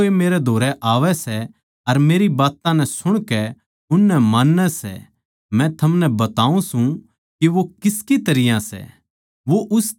जो कोए मेरै धोरै आवै सै अर मेरी बात्तां नै सुणकै उननै मान्नै सै मै थमनै बताऊँ सूं के वो किसकी तरियां सै